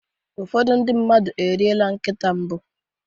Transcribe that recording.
ụfọdụ ndị mmadụ eriela nkịta mbụ